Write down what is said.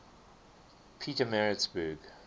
pietermaritzburg